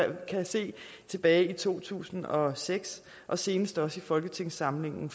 tilbage i to tusind og seks og senest også i folketingssamlingen